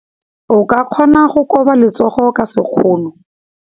O ka kgona go koba letsogo ka sekgono.